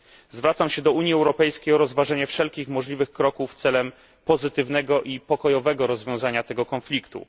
Zwracam się do Unii Europejskiej o rozważenie wszelkich możliwych kroków celem pozytywnego i pokojowego rozwiązania tego konfliktu.